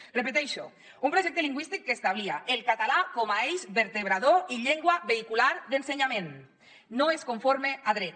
ho repeteixo un projecte lingüístic que establia el català com a eix vertebrador i llengua vehicular d’ensenyament no és conforme a dret